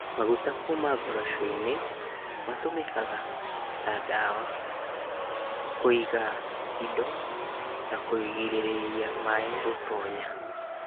Maguta kũma ngoroco-inĩ matũmekaga ta ndawa, kũiga indo na kũgirĩrĩria maĩ gũtonya.